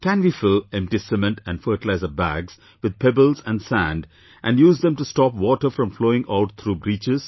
Can we fill empty cement and fertiliser bags with pebbles and sand and use them to stop water from flowing out through breaches